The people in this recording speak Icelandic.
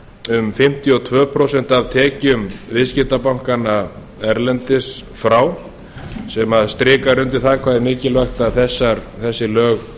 um fimmtíu og tvö prósent af tekjum viðskiptabankanna erlendis frá sem strikar undir það hvað er mikilvægt að þessi lög